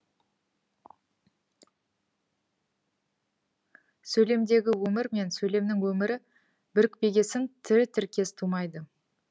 сөйлемдегі өмір мен сөйлемнің өмірі бірікпегесін тірі тіркес тумайды